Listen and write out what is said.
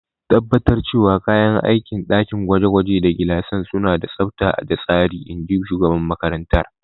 Tabbatar cewa kayan aikin dakin gwaje-gwaje da gilasan suna da tsabta da tsari, in ji shugaban makarantar.